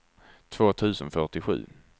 två tusen fyrtiosju